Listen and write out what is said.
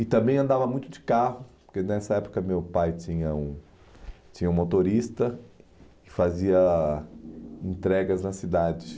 E também andava muito de carro, porque nessa época meu pai tinha um tinha um motorista que fazia entregas nas cidades.